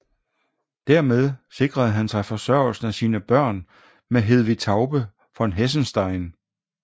Dermed sikrede han forsørgelsen af sine børn med Hedvig Taube von Hessenstein